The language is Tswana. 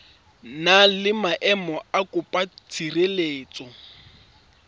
na le maemo a mokopatshireletso